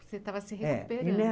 Você estava se recuperando.